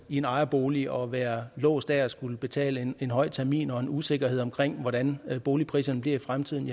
i en ejerbolig og være låst af at skulle betale en høj termin og have en usikkerhed omkring hvordan boligpriserne bliver i fremtiden